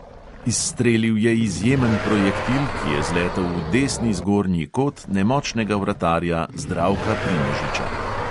Izstrelil je izjemen projektil, ki je zletel v desni zgornji kot nemočnega vratarja zdravka primožiča.